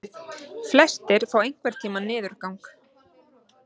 Flestir fá einhvern tíma niðurgang.